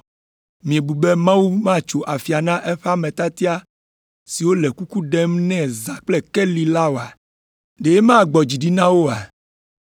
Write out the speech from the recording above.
Miebu be Mawu matso afia na eƒe ame tiatia siwo le kuku ɖem nɛ zã kple keli la oa? Ɖe magbɔ dzi ɖi na wo oa?